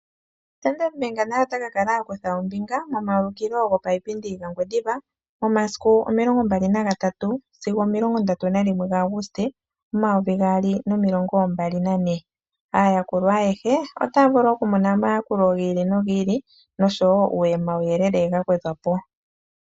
Standard bank naye otakakala okutha ombinga momayukilo gopaupindi gomo ngwendiva momasiku omilongo mbali naga tatu sigo omilongo ndatu na limwe ga agutse omayovi gaali nomilongo mbali nagane. Aayakulwa ayehe otaya vulu okumona omayakulo gi ili no gi ili nisho woo omawu yelele ga wedhwapo.